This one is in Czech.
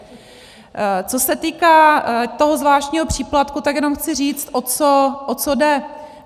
Co se týká toho zvláštního příplatku, tak jenom chci říct, o co jde.